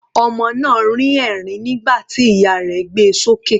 Ọmọ náà rín ẹ̀rín nígbà tí ìyá rẹ̀ gbé e sókè.